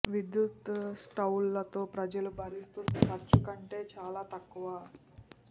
విద్యుత్ స్టవ్లు తో ప్రజలు భరిస్తుంది ఖర్చు కంటే చాలా తక్కువ